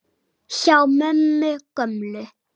Hjá mömmu gömlu?!